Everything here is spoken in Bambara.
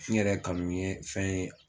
N yɛrɛ kanu ye fɛn ye